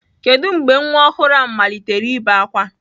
Kedu mgbe nwa ọhụrụ ahụ malitere ibe ákwá?